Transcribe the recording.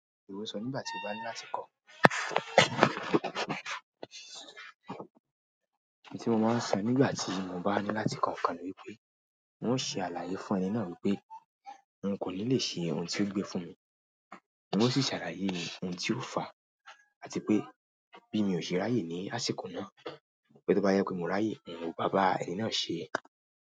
Ìwọ sọ nígbà tí mo bá ní láti kọ̀. Ohun tí mo máa ń sọ nígbà tí mo bá ní láti kọ ǹkan ní wípé n ó ṣe àlàyé fún ẹni náà wípé n hun kò ní lè ṣe ohun tí ó gbé fún mi. N ó sì ṣàlàyé ohun tí ó fàá àti pé bí mi ò ṣe ráyè ní àsìkò náà wípé tó bá yẹ pé mo ráyè, hun ò bá bá ẹni náà ṣe.